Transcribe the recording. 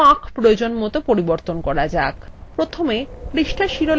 এবার ফাঁক প্রয়োজনমত পরিবর্তন করা যাক